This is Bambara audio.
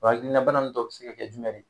Wa hakilna bana nun dɔ bɛ se ka kɛ jumɛn ri?